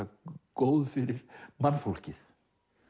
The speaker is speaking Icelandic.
góð fyrir mannfólkið